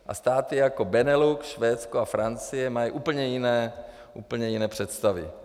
A státy jako Benelux, Švédsko a Francie mají úplně jiné představy.